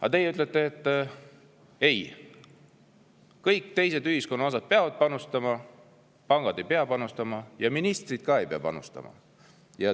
Aga teie ütlete, et ei, kõik teised ühiskonna osad peavad panustama, kuid pangad ei pea panustama ja ka ministrid ei pea panustama.